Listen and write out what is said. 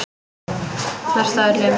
Mest af öllum.